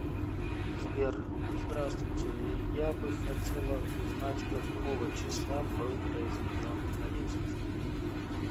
сбер здравствуйте я бы хотела узнать какого числа был произведен арест